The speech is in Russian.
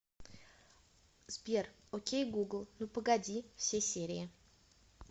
сбер о кей гугл ну погоди все серии